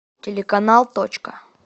телеканал точка